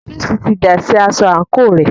Júùsí ti dà sí aṣọ àńkò rẹ̀.